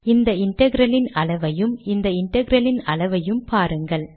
இந்த இன்டெக்ரல் இன் அளவையும் இந்த இன்டெக்ரல் இன் அளவையும் பாருங்கள்